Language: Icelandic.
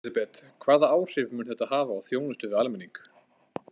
Elísabet, hvaða áhrif mun þetta hafa á þjónustu við almenning?